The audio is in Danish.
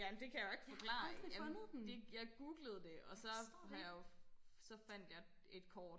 jamen det kan jeg jo ikke forklare jeg det jeg googlede det og så har jeg jo så fandt jeg et kort